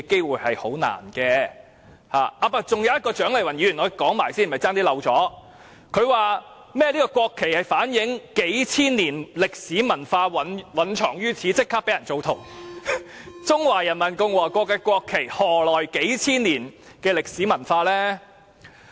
還有一點是有關蔣麗芸議員的，我差點忘了說，她說甚麼國旗反映數千年歷史文化蘊藏於此，其後立即被人質疑，中華人民共和國的國旗何來數千年歷史文化？